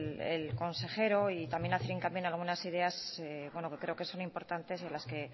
el consejero y también hacer hincapié en algunas ideas que creo que son importantes y en las que